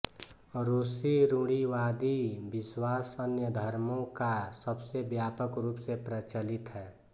रूसी रूढ़िवादी विश्वास अन्य धर्मों का सबसे व्यापक रूप से प्रचलित है